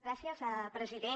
gràcies president